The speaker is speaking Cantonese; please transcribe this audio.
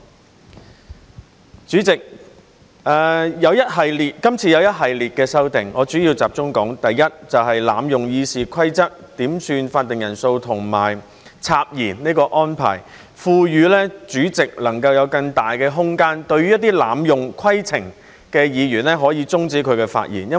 代理主席，今次有一系列的修訂，我主要集中說第一，就是濫用《議事規則》點算法定人數和插言這安排，賦予主席能夠有更大的空間，對一些濫用規程的議員，可以終止他的發言。